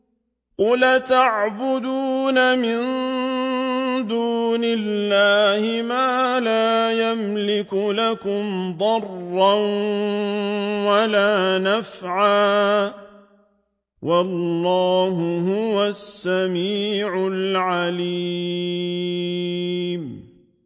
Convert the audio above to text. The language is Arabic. قُلْ أَتَعْبُدُونَ مِن دُونِ اللَّهِ مَا لَا يَمْلِكُ لَكُمْ ضَرًّا وَلَا نَفْعًا ۚ وَاللَّهُ هُوَ السَّمِيعُ الْعَلِيمُ